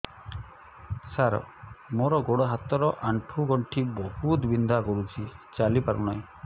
ସାର ମୋର ଗୋଡ ହାତ ର ଆଣ୍ଠୁ ଗଣ୍ଠି ବହୁତ ବିନ୍ଧା କରୁଛି ଚାଲି ପାରୁନାହିଁ